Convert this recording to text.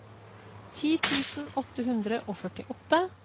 ti tusen åtte hundre og førtiåtte